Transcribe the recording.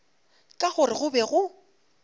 ka gore go be go